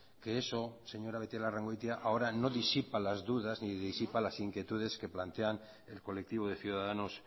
que eso señora beitialarrangoitia ahora no disipa las dudas ni disipa las inquietudes que plantean el colectivo de ciudadanos